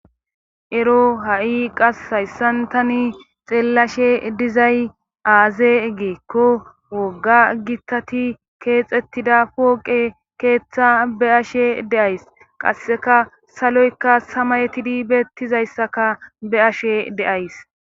Ero ha'i qasse hayssan tani xeellashe dizay aaze giikko wogga gitati keexettida pooqe keeththa be'ashe days. Qasseka saloyka samayetidi beettiza issaka be'ashe days.